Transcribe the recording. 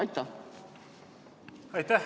Aitäh!